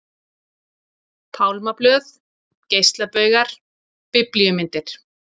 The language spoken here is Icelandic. Pálmablöð, geislabaugar, biblíumyndir.